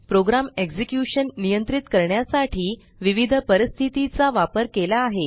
programme execution नियंत्रित करण्यासाठी विविध परिस्थिती चा वापर केला आहे